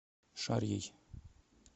шарьей